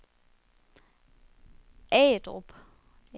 Agedrup